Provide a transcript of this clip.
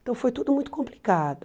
Então foi tudo muito complicado.